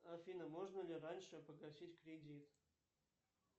афина можно ли раньше погасить кредит